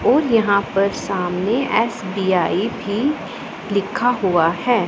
और यहां पर सामने एस_बी_आई भी लिखा हुआ है।